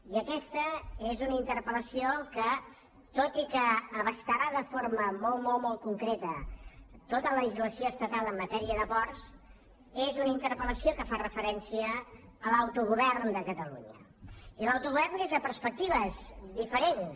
i aquesta és una interpel·la ció que tot i que abastarà de forma molt molt molt concreta tota la legislació estatal en matèria de ports és una interpel·lació que fa referència a l’autogovern de catalunya i a l’autogovern des de perspectives diferents